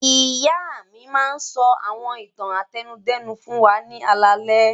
Ìyá mi máa ń sọ àwọn ìtàn àtẹnudẹ́nu fún wa ní alaalẹ́.